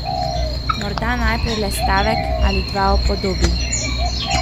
Morda najprej le stavek ali dva o podobi.